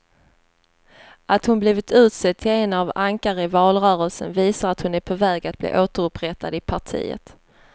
Att hon blivit utsedd till ett av ankaren i valrörelsen visar att hon är på väg att bli återupprättad i partiet.